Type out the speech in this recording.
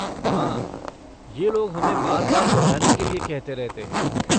हाँ, ये लोग हमें बार बार दोहराने के लिए कहते रहते हैं।